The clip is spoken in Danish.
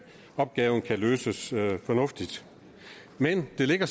opgaven kan løses fornuftigt men det ligger